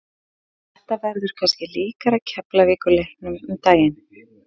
Þetta verður kannski líkara Keflavíkur leiknum um daginn.